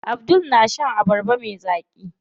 Abdul na shan abarba me zaƙi.